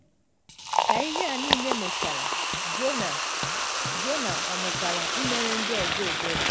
Ka ihe a niile mechara, Jona Jona ọ̀ mụtala imere ndị ọzọ ebere?